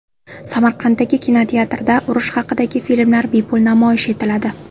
Samarqanddagi kinoteatrda urush haqidagi filmlar bepul namoyish etiladi.